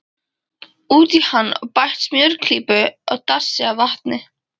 Út í hann er bætt smjörklípu og dassi af vatni.